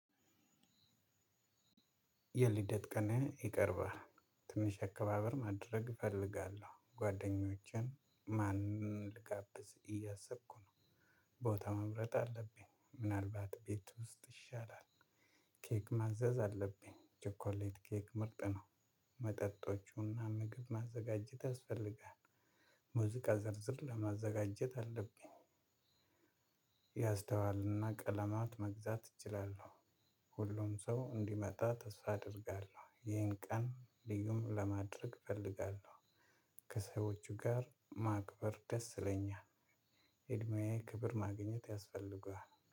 የልደት ቀን ይቀርባል ትንሽ አከባበር ማድረግ እፈልጋለሁ ጓደኞቼን ማን ልጋብዝ እያሰብኩ ነው። ቦታ መምረጥ አለብኝ ምናልባት ቤት ውስጥ ይሻላል። ኬክ ማዘዝ አለብኝ ቸኮሌት ኬክ ምርጥ ነው። መጠጦች እና ምግብ ማዘጋጀት ያስፈልጋል። ሙዚቃ ዝርዝር ለማዘጋጀት አለብኝ። ያስተዋል እና ቀለማት መግዛት እችላለው። ሁሉም ሰው እንዲመታ ተስፋ አደርጋለው ይሄን ቀን ልዩ ለማድረግ እፈልጋለው። ከሰዎቹ ጋር ማክበር ደስ ይለኛል። እድሜዬ ክብር ማግኘት ያስፈልጋል